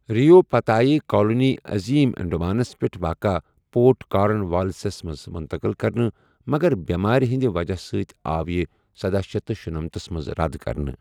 رۍ یَو پتہٕ آیہِ کالونی عظیٖم انڈمانَس پٮ۪ٹھ واقعہ پورٹ کارن والیسَس منٛز منتقٕل کرنہٕ، مگر بیٚمارِ ہٕنٛدِ وجہ سۭتۍ آو یہِ سدہَ شیتھ تہٕ شُنمَنتَھس منٛز رد کرنہٕ۔